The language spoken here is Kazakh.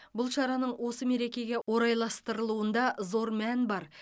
бұл шараның осы мерекеге орайластырылуында зор мән бар